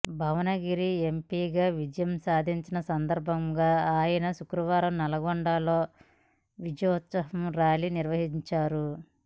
భువనగిరి ఎంపీగా విజయం సాధించిన సందర్భంగా ఆయన శుక్రవారం నల్లగొండలో విజయోత్సవ ర్యాలీ నిర్వహించారు